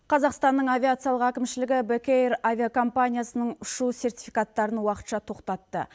қазақстанның авиациялық әкімшілігі бек эйр авиакомпаниясының ұшу сертификаттарын уақытша тоқтатты